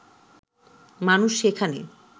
মানুষ সেখানে